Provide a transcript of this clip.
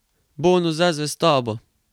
Bonus za zvestobo.